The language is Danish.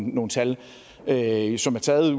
nogle tal tal som er taget